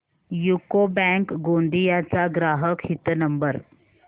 UCO bank Gondia चा ग्राहक हित नंबर